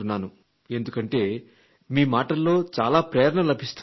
ఎందుకంటే మీ మాటల్లో చాలా ప్రేరణ లభిస్తుంది అని